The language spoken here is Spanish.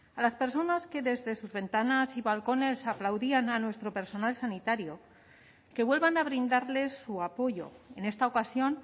a las personas que desde sus ventanas y balcones aplaudían a nuestro personal sanitario que vuelvan a brindarles su apoyo en esta ocasión